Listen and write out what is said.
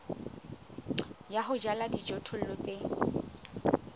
ya ho jala dijothollo tse